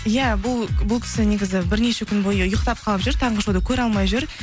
иә бұл кісі негізі бірнеше күн бойы ұйықтап қалып жүр таңғы шоуды көре алмай жүр